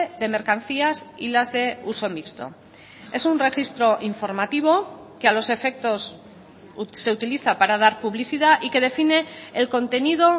de mercancías y las de uso mixto es un registro informativo que a los efectos se utiliza para dar publicidad y que define el contenido